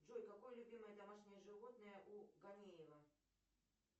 джой какое любимое домашнее животное у ганеева